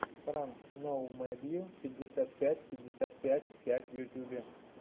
пранк ноумэдйу пятьдесят пять пятьдесят пять пять в ютюбе